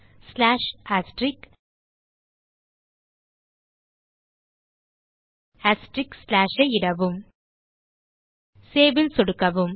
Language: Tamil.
ஐ இடவும் Saveல் சொடுக்கவும்